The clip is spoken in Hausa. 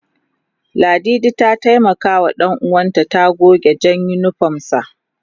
Ladidi ta taimaka wa danuwan ta guga jan unipom sa